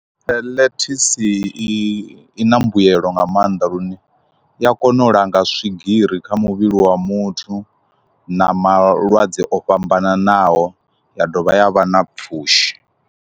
Ḽethisi i na mbuyelo nga maanḓa lune i a kona u langa swigiri kha muvhili wa muthu na malwadze o fhambananaho ya dovha ya vha na pfhushi.